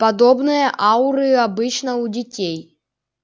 подобные ауры обычно у детей